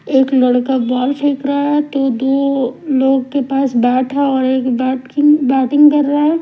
एक लड़का बोल फेंक रहा है तो दो लोग के पास बैठ है और एक बैटकिंग बैटिंग कर रहा है।